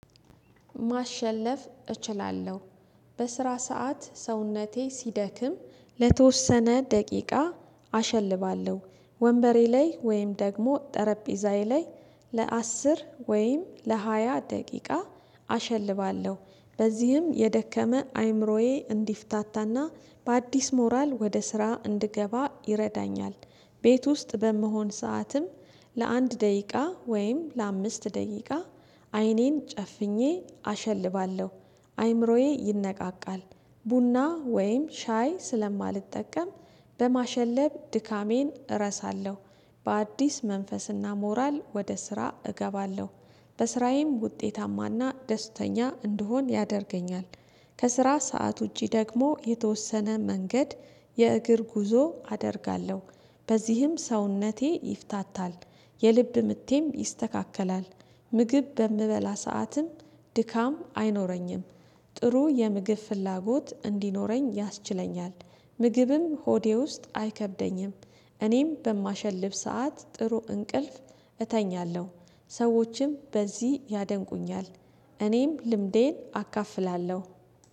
ማሸለፍ እችላለሁ። በስራ ሰዓት ሰውነቴ ሲደክም ለተወሰነ ደቂቃ አሸልባለሁ ወንበሬ ላይ ወይም ደግሞ ጠረጴዛዬ ላይ ለአስር ወይም ለሃያ ደቂቃ አሸልባለሁ። በዚህም የደከመ አይምሮዬ እንዲፍታታና በአዲስ ሞራል ወደ ስራ እንድገባ ይረዳኛል። ቤት ውስጥ በመሆን ሰዓትም ለአንድ ደቂቃ ወይም ለአምስት ደቂቃ አይኔን ጨፍኜ አሸልባለሁ። አይምሮዬ ይነቃቃል ቡና ወይም ሻይ ስለማልጠቀም በማሸለብ ድካሜን እረሳለሁ። በአዲስ መንፈስና ሞራል ወደ ስራ እገባለሁ። በስራዬም ውጤታማና ደስተኛ እንድሆን ያደርገኛል። ከስራ ሰዓት ውጪ ደግሞ የተወሰነ መንገድ የእግር ጉዞ አደርጋለሁ በዚህም ሰውነቴ ይፍታታል። የልብ ምቴም ይስተካከላል ምግብ በምበላ ሰዓትም ድካም አይኖረኝም። ጥሩ የምግብ ፍላጎት እንዲኖረኝ ያስችለኛል ምግብም ሆዴ ውስጥ አይከብደኝም። እኔም በማሸልፍ ሰዓት ጥሩ እንቅልፍ እተኛለሁ። ሰዎችም በዚህ ያደንቁኛል። እኔም ልምዴን አካፍላለሁ